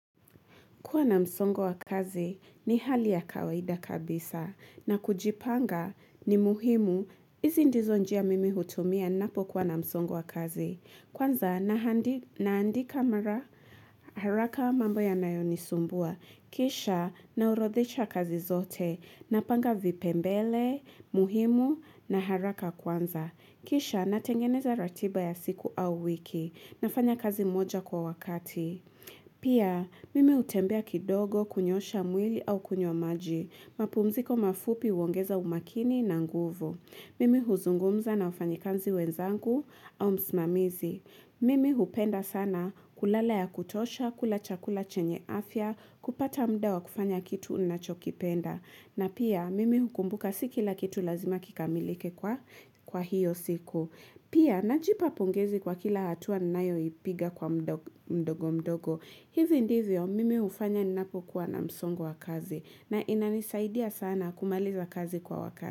Kuwa na msongo wa kazi ni hali ya kawaida kabisa na kujipanga ni muhimu. Hizi ndizo njia mimi hutumia ninapokuwa na msongo wa kazi. Kwanza naandika mara haraka mambo yanayonisumbua. Kisha naorodhesha kazi zote. Napanga vipemgele, muhimu na haraka kwanza. Kisha natengeneza ratiba ya siku au wiki. Nafanya kazi moja kwa wakati. Pia mimi hutembea kidogo kunyoosha mwili au kunywa maji. Mapumziko mafupi huongeza umakini na nguvu. Mimi huzungumza na wafanyikazi wenzangu au msimamizi Mimi hupenda sana kulala ya kutosha, kula chakula chenye afya, kupata muda wa kufanya kitu ninachokipenda. Na pia mimi hukumbuka si kila kitu lazima kikamilike kwa hiyo siku Pia, najipa pongezi kwa kila hatua nayoipiga kwa mdogo mdogo. Hivyo ndivyo mimi hufanya ninapokuwa na msongo wa kazi. Na inanisaidia sana kumaliza kazi kwa wakati.